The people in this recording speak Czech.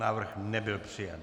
Návrh nebyl přijat.